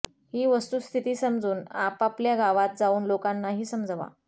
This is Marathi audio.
ही वस्तुस्थिती समजून आपापल्या गावांत जाऊन लोकांनाही समजवा